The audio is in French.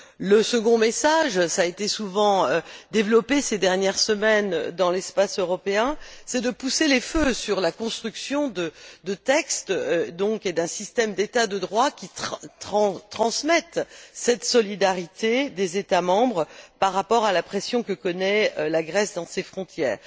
Le second message cela a été souvent développé ces dernières semaines dans l'espace européen c'est de pousser les feux sur la construction de textes et d'un système d'État de droit qui transmettent cette solidarité des États membres par rapport à la pression que connaît la Grèce à ses frontières.